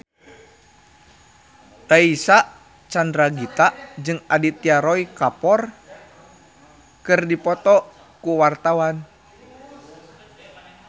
Reysa Chandragitta jeung Aditya Roy Kapoor keur dipoto ku wartawan